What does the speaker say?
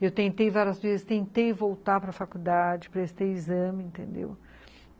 Eu tentei várias vezes, tentei voltar para a faculdade, prestei exame, entendeu?